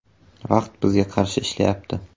Vaqt bizga qarshi ishlayapti.